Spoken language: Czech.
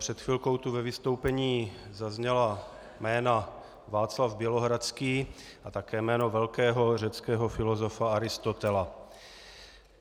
Před chvilkou tu ve vystoupení zazněla jména Václav Bělohradský a také jméno velkého řeckého filozofa Aristotela.